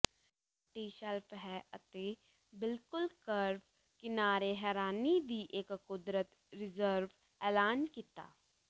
ਤੱਟੀ shelf ਹੈ ਅਤੇ ਬਿਲਕੁਲ ਕਰਵ ਕਿਨਾਰੇ ਹੈਰਾਨੀ ਦੀ ਇੱਕ ਕੁਦਰਤ ਰਿਜ਼ਰਵ ਐਲਾਨ ਕੀਤਾ